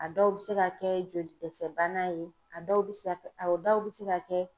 A dɔw bɛ se ka kɛ joli dɛsɛbana ye a dɔw bɛ se ka kɛ a dɔw bɛ se ka kɛ